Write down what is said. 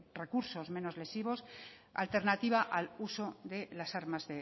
recursos menos lesivos alternativa al uso de las armas